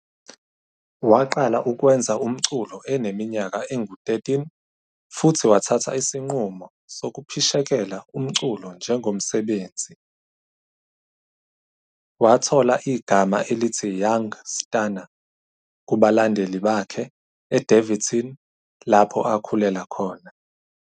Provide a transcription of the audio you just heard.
Waqala ukwenza umculo eneminyaka engu-13 futhi wathatha isinqumo sokuphishekela umculo njengomsebenzi. Wathola igama elithi Young Stunna kubalandeli bakhe eDaveyton lapho akhulela khona.